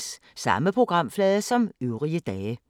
Samme programflade som øvrige dage